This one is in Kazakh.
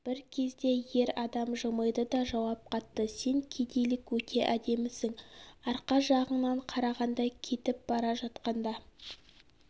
бір кезде ер адам жымиды да жауап қатты сен кедейлік өте әдемісің арқа жағыңнан қарағанда кетіп бара жатқанда